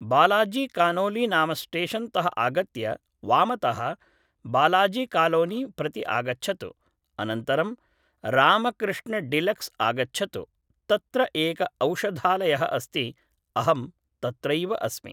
बालाजिकानोलि नाम स्टेशन् तः आगत्य वामतः बालाजिकालोनि प्रति आगच्छतु, अनन्तरं रामकृष्णडिलक्स् आगच्छतु, तत्र एक औषधालयः अस्ति, अहं तत्रैव अस्मि